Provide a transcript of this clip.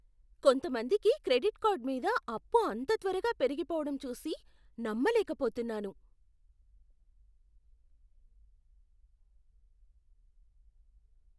కొంతమందికి credit card మీద అప్పు అంత త్వరగా పెరిగిపోవడం చూసి నమ్మలేకపోతున్నాను.